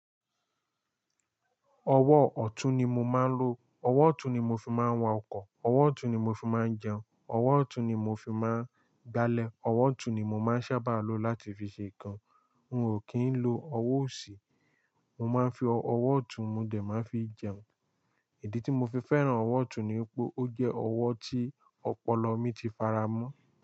Ọwọ́ ọ̀tún ni mo máa ń lò. Ọwọ́ ọ̀tún ni mo fi máa ń wa ọkọ̀, ọwọ́ ọ̀tún ni mo fi máa ń jẹun, ọwọ́ ọ̀tún ni mo fi máa ń gbálẹ̀, ọwọ́ ọ̀tún ni mo máa ń sábà lò láti fi ṣe nǹkan. N ò kí ń lo ọwọ́ òsì. Mo máa ń fi ọwọ́ ọ̀tún, mo dẹ̀ máa fi jẹun. Ìdí tí mo fi fẹ́ràn ọwọ́ ọ̀tún ni pé ó jẹ́ ọwọ́ tí ọpọlọ mi ti faramọ́